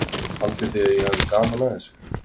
Haldið þið að ég hafi gaman að þessu?